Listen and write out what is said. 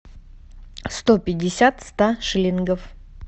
сто пятьдесят ста шиллингов